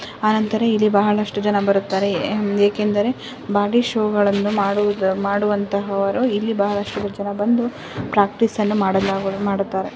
ಅನಂತರ ಇಲ್ಲಿ ಬಹಳಷ್ಟು ಜನರು ಬರುತ್ತಾರೆ ಯಾಕೆಂದರೆ ಬಾಡಿ ಶೋ ವನ್ನು ಮಾಡುವಂತವರ ಇಲ್ಲಿ ಬಹಳಷ್ಟು ಜನ ಬಂದು ಪ್ರಾಕ್ಟೀಸ್ ಅನ್ನು ಮಾಡುತ್ತಾರೆ.